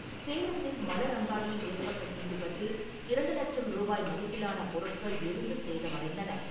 சேலத்தில் மலர் அங்காடியில் ஏற்பட்ட தீ விபத்தில் இரண்டு லட்சம் ரூபாய் மதிப்பிலான பொருட்கள் எரிந்து சேதமடைந்தன.